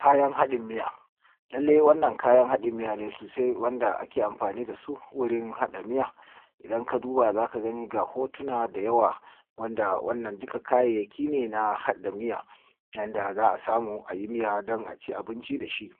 Kayan haɗin miya, lalle wannan kayan haɗin miya ne sosai wanda ake amfani dasu wurin haɗin miya. Idan ka duba zaka gani ga hotuna da yawa wanda duka kayayyaki ne na haɗa miya, yanda za a samu ayi miya don aci abinci dashi